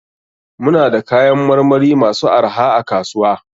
Muna da kayan marmari masu arha a kasuwa.